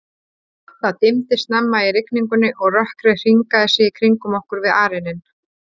Það dimmdi snemma í rigningunni, og rökkrið hringaði sig í kringum okkur við arininn.